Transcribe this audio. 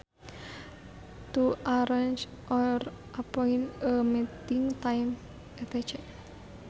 To arrange or appoint a meeting time etc